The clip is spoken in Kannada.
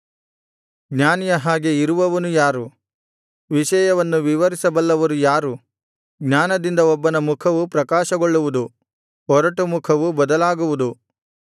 ಜ್ಞಾನಿಯ ಹಾಗೆ ಇರುವವನು ಯಾರು ವಿಷಯವನ್ನು ವಿವರಿಸಬಲ್ಲವರು ಯಾರು ಜ್ಞಾನದಿಂದ ಒಬ್ಬನ ಮುಖವು ಪ್ರಕಾಶಗೊಳ್ಳುವುದು ಒರಟು ಮುಖವು ಬದಲಾಗುವುದು